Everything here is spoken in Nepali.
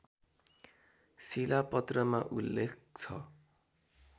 शिलापत्रमा उल्लेख छ